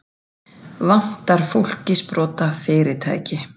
Vantar fólk í sprotafyrirtæki